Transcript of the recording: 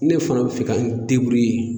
Ne fana bi fɛ ka n